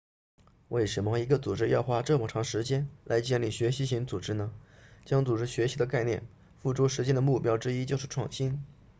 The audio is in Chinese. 为什么一个组织要花这么长时间来建立学习型组织呢将组织学习的概念付诸实践的目标之一就是创新